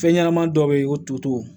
Fɛn ɲɛnɛmanin dɔ be yen o to toto